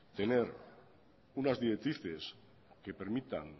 tener unas directrices que permitan